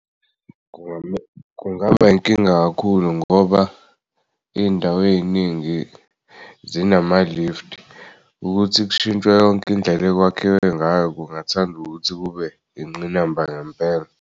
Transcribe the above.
Kungaba inkinga kakhulu ngoba iy'ndawo ey'ningi zinama-lift ukuthi kushintshwe yonk'indlela ekwakhiwe ngayo kungathanda ukuthi kube ingqinamba ngempela.